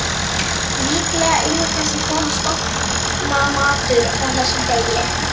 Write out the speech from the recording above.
Líklega yrði þessi kona stofnanamatur frá þessum degi.